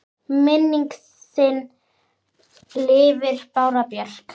Minning þin lifir, Bára Björk.